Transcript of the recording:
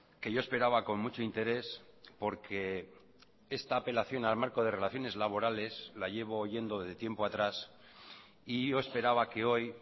que yo esperaba con mucho interés porque esta apelación al marco de relaciones laborales la llevo oyendo de tiempo atrás y yo esperaba que hoy